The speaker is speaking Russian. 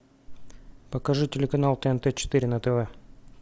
покажи телеканал тнт четыре на тв